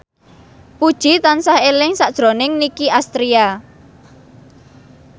Puji tansah eling sakjroning Nicky Astria